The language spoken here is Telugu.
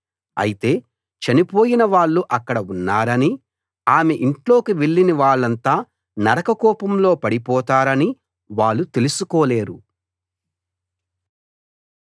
అయితే చనిపోయిన వాళ్ళు అక్కడ ఉన్నారనీ ఆమె ఇంట్లోకి వెళ్ళిన వాళ్ళంతా నరక కూపంలో పడిపోతారనీ వాళ్ళు తెలుసుకోలేరు